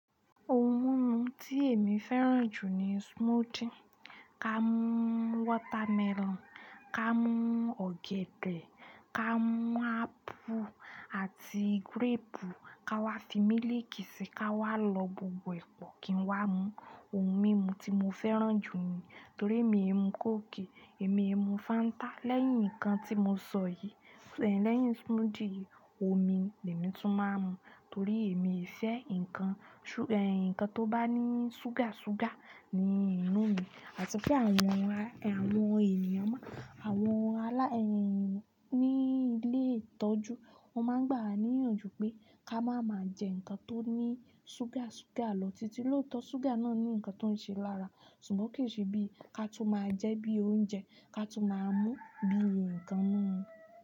Ohun mímu tí èmi fẹ́ràn jù ni smoothie. Ká mú watermelon, ká mú ọ̀gẹ̀dẹ̀, ká mú apple àti gúréèpù, ká wá fi mílìkì si, ká wá lọ gbogbo ẹ̀ pọ́ kí n wá mú. Ohun mímu tí mo fẹ́ràn jù ni torí èmi e mú kóòkì, èmi e mú Fanta. Lẹ́yìn nǹkan tí mo sọ yìí, lẹ́yìn smoothie, omi lẹ́mi tún máa ń mú torí èmi ò fẹ nǹkan tó bá ní ṣúgà ṣúgà nínú mi. Àti pé àwọn ènìyàn ní ilé ìtọ́jú wọ máa ń gbà wá níyànjú pé ká máa ma jẹ nǹkan tó ní ṣúgà ṣúgà lọ títí lóòótọ́ ṣúgà náà ní nǹkan tó ń ṣe lára. Ṣùgbọ́n kì í ṣe bí i ká tun máa jẹ bí i oúnjẹ ká tun máa mú bí i nǹkan múmu.